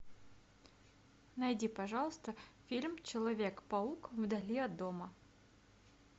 найди пожалуйста фильм человек паук вдали от дома